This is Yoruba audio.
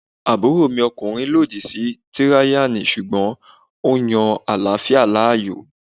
Àbúròmi ọkùnrin lòdì sí tíráyánì sùgbọ́n ó yan àláfíà láàyò